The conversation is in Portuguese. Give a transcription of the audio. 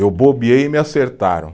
Eu bobeei e me acertaram.